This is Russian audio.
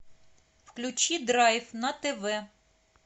включи драйв на тв